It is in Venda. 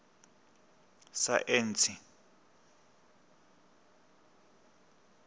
saentsi